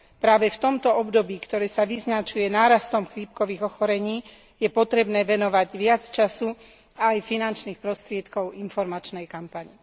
Práve v tomto období, ktoré sa vyznačuje nárastom chrípkových ochorení je potrebné venovať viac času aj finančných prostriedkov informačnej kampani.